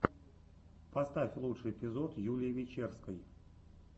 поставь лучший эпизод юлии вечерской